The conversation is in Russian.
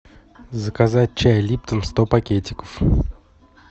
заказать чай липтон сто пакетиков